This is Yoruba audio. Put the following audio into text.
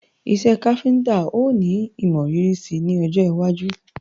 Iṣẹ́ káfíntá ó ní imọrírì si ní ọjọwájú